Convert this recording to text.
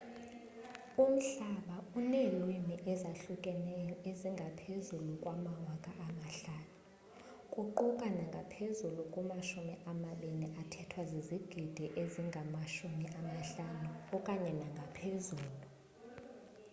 umhlaba uneelwimi ezahlukeneyo ezingaphezu kwe-5000 kuquka ngaphezulu kwamashumi amabini athethwa zizigidi ezingama-50 okanye ngaphezulu